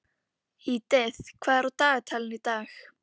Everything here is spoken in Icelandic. Edith, hvað er á dagatalinu í dag?